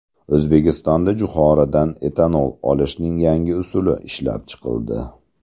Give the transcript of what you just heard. O‘zbekistonda jo‘xoridan etanol olishning yangi usuli ishlab chiqildi.